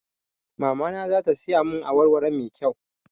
Mamana za ta siya mun awar waro mai kyau